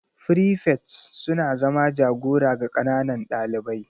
frifets suna zama jagora ga ƙananan ɗalibai.